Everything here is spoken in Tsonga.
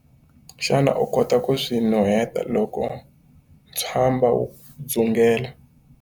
Xana u kota ku swi nuheta loko ntswamba wu dzungela?